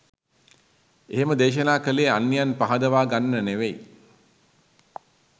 එහෙම දේශනා කළේ අන්‍යයන් පහදවා ගන්න නෙවෙයි